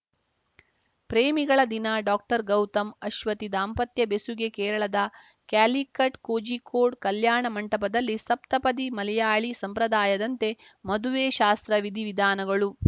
ಪ್ರೇಮಿಗಳ ದಿನ ಡಾಕ್ಟರ್ಗೌತಮ್‌ ಅಶ್ವತಿ ದಾಂಪತ್ಯ ಬೆಸುಗೆ ಕೇರಳದ ಕ್ಯಾಲಿಕಟ್‌ ಕೋಜಿಕೋಡ್‌ ಕಲ್ಯಾಣ ಮಂಟಪದಲ್ಲಿ ಸಪ್ತಪದಿ ಮಲಯಾಳಿ ಸಂಪ್ರದಾಯದಂತೆ ಮದುವೆ ಶಾಸ್ತ್ರ ವಿಧಿ ವಿಧಾನಗಳು